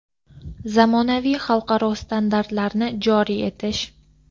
zamonaviy xalqaro standartlarni joriy etish;.